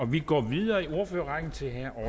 vi går videre i ordførerrækken til herre